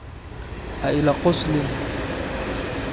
Ha ila qoslin.